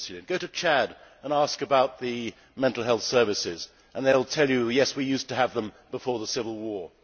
Go to Chad and ask about the mental health services, and they will tell you that they used to have them before the civil war.